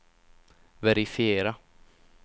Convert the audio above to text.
verifiera